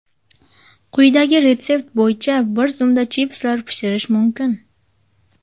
Quyidagi retsept bo‘yicha bir zumda chipslar pishirish mumkin.